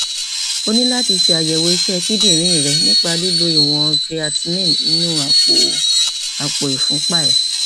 o ní láti ṣàyẹwò iṣẹ kíndìnrín rẹ nípa lílo ìwọn creatinine inú àpò àpò ìfúnpá rẹ